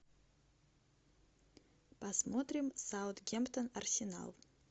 посмотрим саутгемптон арсенал